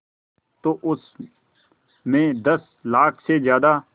तो उस में दस लाख से ज़्यादा